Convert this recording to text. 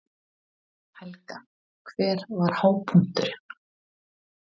Helga: Hver var hápunkturinn?